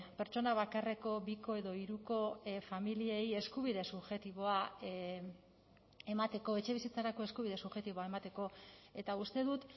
pertsona bakarreko biko edo hiruko familiei eskubide subjektiboa emateko etxebizitzarako eskubide subjektiboa emateko eta uste dut